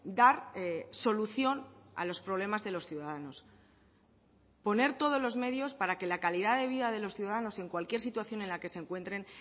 dar solución a los problemas de los ciudadanos poner todos los medios para que la calidad de vida de los ciudadanos en cualquier situación en la que se encuentren